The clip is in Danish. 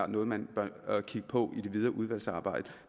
noget man bør kigge på i det videre udvalgsarbejde